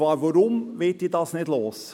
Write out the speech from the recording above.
Und warum werde ich ihn nicht los?